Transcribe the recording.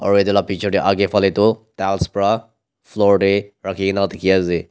Aro eteh la picture dae agae phale tuh tiles pra ghor dae rakhikena dekhi ase.